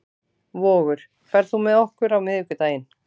Vogur, ferð þú með okkur á miðvikudaginn?